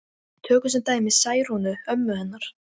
Tökum sem dæmi Særúnu ömmu hennar.